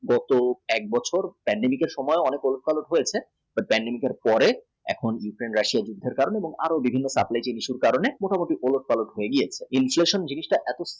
যে হেতু বছর pandemic এর অনেক ওলট পালট হয়েছে তো pandemic এর পরে এখন ওলট পালট পেরিয়ে inflation জিনিসটা